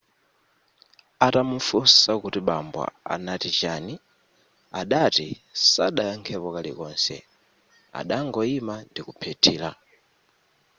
atamufunsa kuti bambo anati chani adati sadayakhepo kalikonse adangoima ndikuphethira